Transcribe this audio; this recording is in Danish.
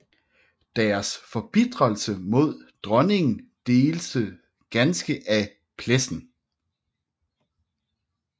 Deres forbitrelse imod dronningen deltes ganske af Plessen